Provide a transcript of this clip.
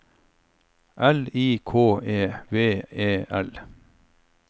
L I K E V E L